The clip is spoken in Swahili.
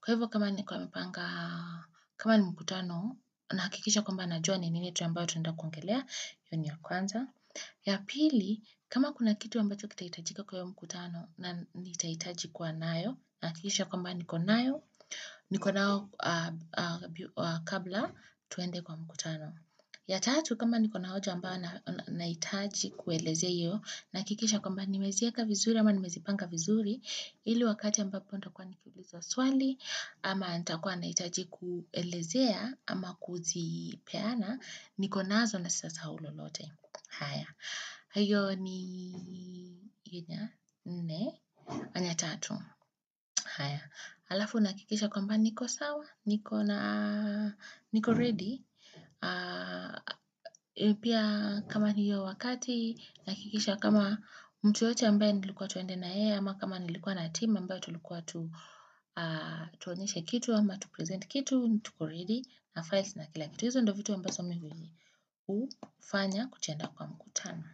Kwa hivyo, kama nilikuwa nimepanga, kama ni mkutano, nahakikisha kwamba najua ni nini ambacho tunenda kuongelea, hiyo ni ya kwanza. Ya pili, kama kuna kitu ambacho kitahitajika kwa hiyo mkutano, na nitahitaji kuwa nayo, nahakikisha kwamba niko nayo, niko nayo kabla tuende kwa mkutano. Ya tatu, kama nikona hoja ambayo nahitaji kuelezea hiyo, nahakikisha kwamba nimezieka vizuri, ama nimezipanga vizuri, ili wakati ambapo nitakuwa nikiulizwa swali, ama nitakuwa nahitaji kuelezea, ama kuzipeana, niko nazo na sitasahau lolote. Haya, hiyo inya nne, anya tatu haya, alafu nahakikisha kwamba niko sawa, niko ready Pia kama ni hiyo wakati nahakikisha kama mtu yeyote ambaye nilikuwa twende na yeye ama kama nilikuwa na team na ambaye tulikuwa tu Tuonyeshe kitu ama tu present kitu, tuko ready na files na kila kitu hizo ndo vitu ambazo mi hufanya tukienda kwa mkutano.